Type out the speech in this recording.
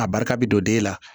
A barika bɛ don den na